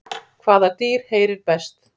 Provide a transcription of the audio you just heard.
Hvaða dýr heyrir best?